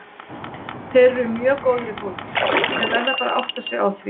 Þeir eru mjög góðir í fótbolta, þeir verða bara að átta sig á því.